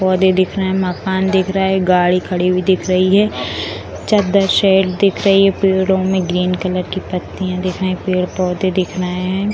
पौधे दिख रहे हैं मकान दिख रहा है गाड़ी खड़ी हुई दिख रही है चद्दर सेड दिख रही है पेड़ो में ग्रीन कलर की पत्तियां दिख रहे हैं पेड़-पौधे दिख रहे हैं।